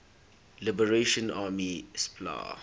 liberation army spla